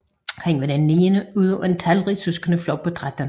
Han var den niende ud af en talrig sødskendeflok på 13